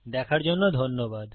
দেখার জন্য ধন্যবাদ